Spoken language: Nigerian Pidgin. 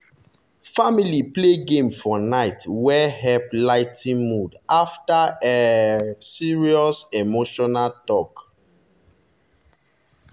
family play game for night wey help ligh ten mood after um serious emotional talk.